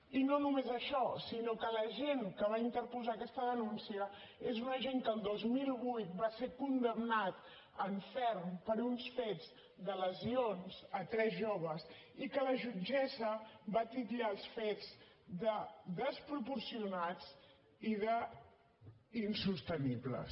i no només això sinó que l’agent que va interposar aquesta denúncia és un agent que el dos mil vuit va ser condemnat en ferm per uns fets de lesions a tres joves i que la jutgessa va titllar els fets de desproporcionats i d’insostenibles